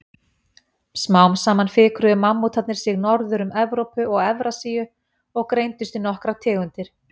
Smám saman fikruðu mammútarnir sig norður um Evrópu og Evrasíu og greindust í nokkrar tegundir.